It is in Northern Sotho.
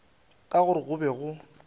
ka gore go be go